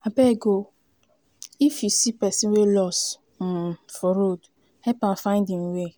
abeg o if you see pesin wey loss um for road help am find im way.